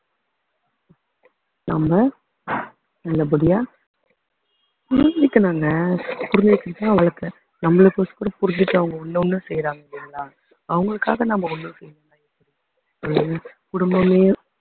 நம்ம நல்லபடியா புரிஞ்சுக்கணும்ங்க புரிஞ்சுக்கிட்டுதான் அவங்களுக்கு நம்மளுக்கு புரிஞ்சுட்டு அவங்க ஒண்ணு ஒண்ணும் செய்யறாங்க இல்லைங்களா அவங்களுக்காக நம்ம ஒண்ணு செய்யணும் குடும்பமே